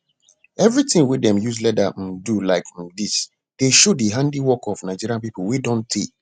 every ting wey dem use leather um do like um dis dey show di handiwork of nigeria people wey don tey